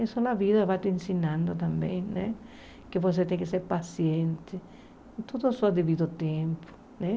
Isso a vida vai te ensinando também né, que você tem que ser paciente, tudo a seu devido ao tempo né.